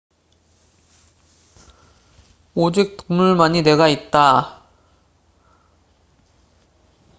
오직 동물만이 뇌가 있다비록 모든 동물이 그런 것은 아니다. 예를 들면 해파리는 뇌가 없다